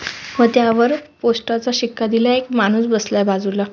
व त्यावर पोस्टर चा शिक्का दिलाय एक माणूस बसलाय बाजूला.